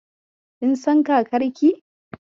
Kin san kakarki?